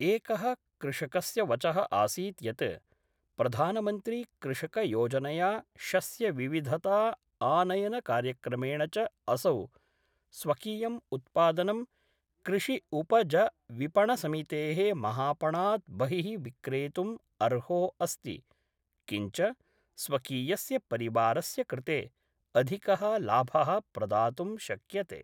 एकः कृषकस्य वच: आसीत् यत् प्रधानमन्त्री कृषकयोजनया शस्यविविधता आनयनकार्यक्रमेण च असौ स्वकीयं उत्पादनं कृषि उपजविपणनसमितेः महापणात् बहि: विक्रेतुम् अर्हो अस्ति, किञ्च स्वकीयस्य परिवारस्य कृते अधिक: लाभ: प्रदातुं शक्यते।